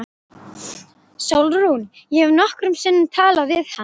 SÓLRÚN: Ég hef nokkrum sinnum talað við hann.